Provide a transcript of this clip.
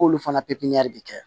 K'olu fana pipiniyɛri bɛ kɛ